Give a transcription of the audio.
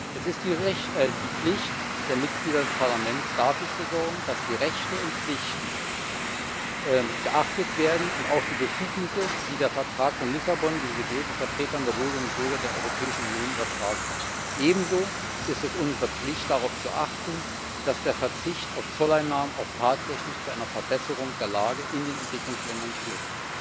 Es ist die Pflicht der Mitglieder des Parlaments, dafür zu sorgen, dass die Rechte und Pflichten und auch die Befugnisse, die der Vertrag von Lissabon den gewählten Vertretern der Bürgerinnen und Bürger der Europäischen Union übertragen hat, geachtet werden. Ebenso ist es unsere Pflicht, darauf zu achten, dass der Verzicht auf Zolleinnahmen auch tatsächlich zu einer Verbesserung der Lage in den Entwicklungsländern führt.